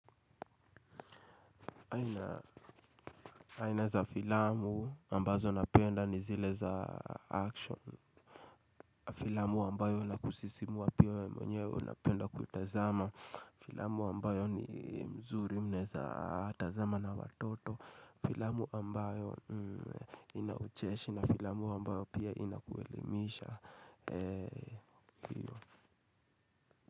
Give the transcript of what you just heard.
Aina za filamu ambazo napenda ni zile za action. Filamu ambayo na kusisimua pia ya we mwenyewe unapenda kuitazama. Filamu ambayo ni mzuri mnaeza tazama na watoto. Filamu ambayo ina ucheshi na filamu ambayo pia inakuelimisha.